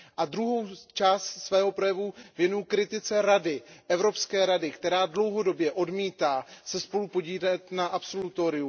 Druhou část svého projevu věnuji kritice Evropské rady, která se dlouhodobě odmítá spolupodílet na absolutoriu.